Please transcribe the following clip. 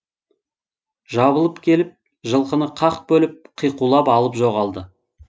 жабылып келіп жылқыны қақ бөліп қиқулап алып жоғалды